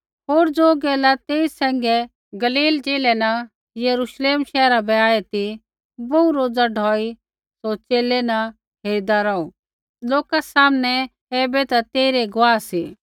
होर ज़ो लोका तेई सैंघै गलील ज़िलै न यरूश्लेम शैहरा बै आऐ ती बोहू रोज़ा ढौई सौ च़ेले न हेरिदा रौहू लोका सामनै ऐबै ते तेइरै गुआह सी